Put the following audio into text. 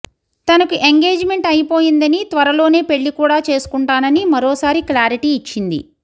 తనకు engagement అయిపోయిందని త్వరలోనే పెళ్లి కూడా చేసుకుంటానని మరోసారి క్లారిటీ ఇచ్చింది